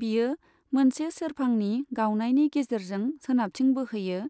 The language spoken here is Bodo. बियो मोनसे सेरफांनि गावनायनि गेजेरजों सोनाबथिं बोहोयो,